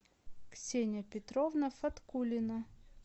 ксения петровна фаткулина